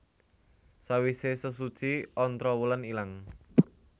Sawise sesuci Ontrowulan ilang